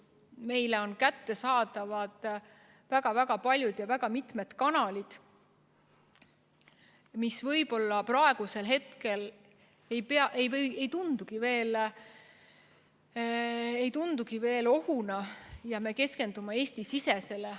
Meile on kättesaadavad väga paljud kanalid, mis võib-olla praegu ei tundugi veel ohuna, ja me keskendume Eesti-sisesele.